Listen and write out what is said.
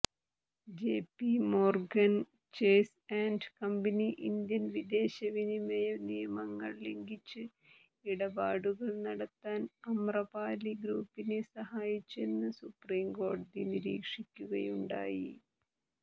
JPMorgan Chase and company Indian വിദേശവിനിമയ നിയമങ്ങൾ ലംഘിച്ച് ഇടപാടുകൾ നടത്താൻ അമ്രപാലി ഗ്രൂപ്പിനെ സഹായിച്ചെന്ന് സൂപ്രീംകോടതി നിരീക്ഷിക്കുകയുണ്ടായി